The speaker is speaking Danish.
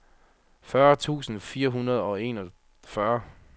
fyrre tusind fire hundrede og enogfyrre